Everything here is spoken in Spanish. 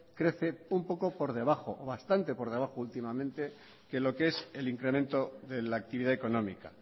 crece un poco por debajo o bastante por debajo últimamente que lo que es el incremento de la actividad económica